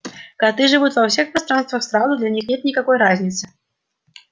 коты живут во всех пространствах сразу для них нет никакой разницы